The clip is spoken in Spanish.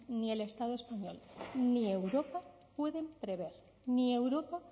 ni el estado español ni europa pueden prever ni europa